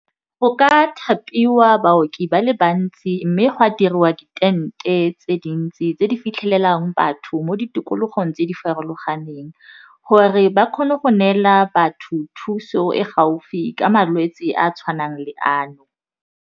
Go ka thapiwa baoki ba le bantsi mme go a dirwa di tente tse dintsi tse di fitlhelelang batho mo ditikologong tse di farologaneng gore ba kgone go neela batho thuso e gaufi ka malwetse a a tshwanang le ano.